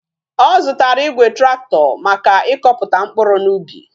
O zutara Igwe tractor Maka ikoputa mkpuru na ubi